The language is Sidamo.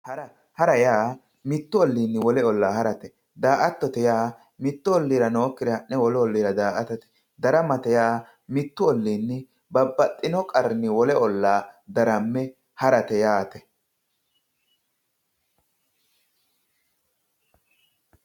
Ha'ra, ha'ra yaa mitu olliini wole olla ha'rate ,daa"attote yaa mitu olliira noyikkire wolu olliira daa"attate, daramate yaa mitu olliini babbaxxino qarrinni wole olla darame ha'rate yaate.